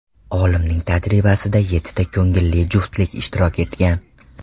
Olimning tajribasida yettita ko‘ngilli juftlik ishtirok etgan.